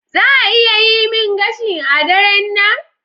Za a iya gama yi min gashi a daren nan?